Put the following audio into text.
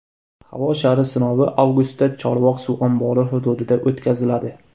Havo shari sinovi avgustda Chorvoq suv ombori hududida o‘tkaziladi.